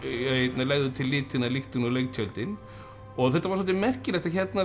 legðu til litina lyktina og leiktjöldin og þetta var svolítið merkilegt að